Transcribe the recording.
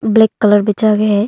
Black colour में jug है।